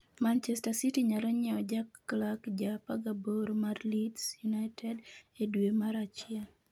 Manchester City nyalo nyiewo Jack Clarke ja 18 mar Leeds United, e dwe mar achiel.